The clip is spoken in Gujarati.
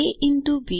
ab